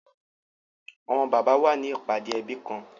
Awọn baba wa ni ipade ẹbi kan